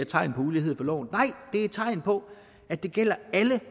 tegn på ulighed for loven nej det er et tegn på at det gælder alle